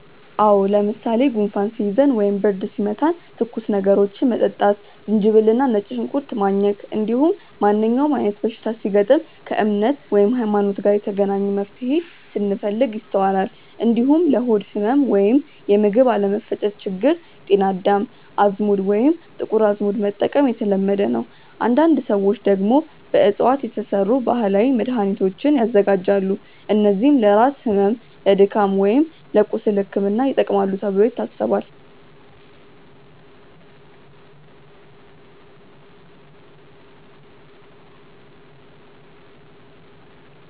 አዎ። ለምሳሌ ጉንፋን ሲይዘን ወይም ብርድ ሲመታን ትኩስ ነገሮችን መጠጣት፣ ዝንጅብል እና ነጭ ሽንኩርት ማኘክ፣ እንዲሁም ማንኛውም አይነት በሽታ ሲገጥም ከእምነት (ሀይማኖት) ጋር የተገናኘ መፍትሄን ስንፈልግ ይስተዋላል። እንዲሁም ለሆድ ህመም ወይም የምግብ አለመፈጨት ችግር ጤና አዳም፣ አዝሙድ ወይም ጥቁር አዝሙድ መጠቀም የተለመደ ነው። አንዳንድ ሰዎች ደግሞ በእፅዋት የተሰሩ ባህላዊ መድሃኒቶችን ያዘጋጃሉ፣ እነዚህም ለራስ ህመም፣ ለድካም ወይም ለቁስል ሕክምና ይጠቅማሉ ተብሎ ይታሰባል።